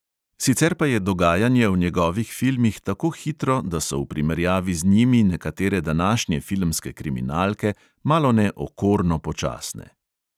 Sicer pa je dogajanje v njegovih filmih tako hitro, da so v primerjavi z njimi nekatere današnje filmske kriminalke malone okorno počasne.